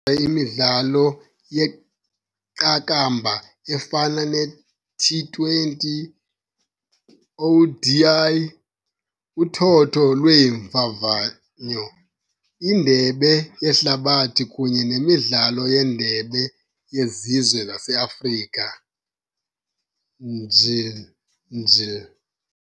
imidlalo yeqakamba efana ne-T20, ODI, uthotho lweeMvavanyo, iNdebe yeHlabathi kunye nemidlalo yeNdebe yeZizwe zaseAfrika, njl.njl.